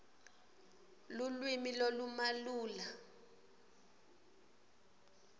lulwimi lolumalula